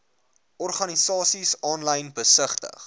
organisasies aanlyn besigtig